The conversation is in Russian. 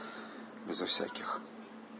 безо всяких